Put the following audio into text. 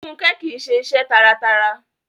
Fúnkẹ́ kìíse iṣẹ́ taratara